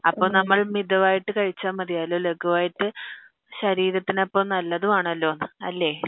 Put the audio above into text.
അപ്പൊ നമ്മൾ മിതമായിട്ടു കഴിച്ച മതിയല്ലോ ലാകുവായിട്ടു ശരീരത്തിന് അപ്പൊ നല്ലതും ആണല്ലോ അല്ലേ